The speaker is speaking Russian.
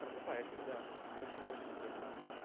просыпаешься да очень даже интересно